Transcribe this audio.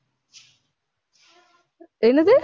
என்னது